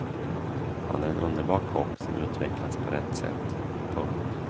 Han är en underbar kock som utvecklats på rätt sätt. punkt